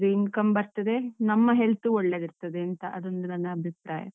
Income ಬರ್ತದೆ, ನಮ್ಮ health ಒಳ್ಳೇದಿರ್ತದೇಂತ. ಅದೊಂದು ನನ್ನ ಅಭಿಪ್ರಾಯ.